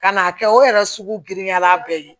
Ka n'a kɛ o yɛrɛ sugu girinya la bɛɛ ye